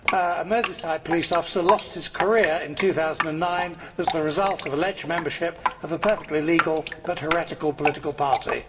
A Merseyside police officer lost his career in 2009 as the result of alleged membership of a perfectly legal but heretical political party.